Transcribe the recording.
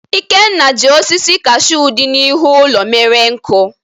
Ikenna ji osisi kashuu dị n'ihu ụlọ mere nkụ.